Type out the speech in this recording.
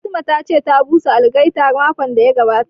Fatima ta ce ta busa algaita makon da ya gabata